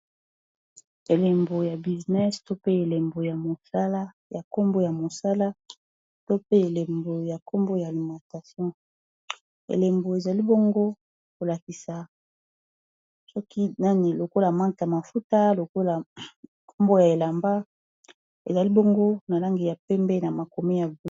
Elembo ya businesse, to pe elembo ya nkombo ya mosala, to pe elembo ya nkombo ya alimatation. Elembo, ezali bongo kolakisa soki nani, lokola marke ya mafuta, nkombo ya elamba. Ezali bongo na langi ya pembe na makomi ya ble.